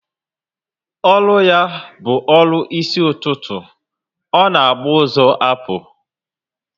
Ọrụ ya bu ọrụ isi ụtụtụ, ọ na agba ụzọ apu